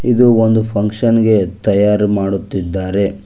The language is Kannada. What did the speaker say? ಇದು ಒಂದು ಫಂಕ್ಷನ್ ಗೆ ತಯಾರು ಮಾಡುತ್ತಿದ್ದಾರೆ.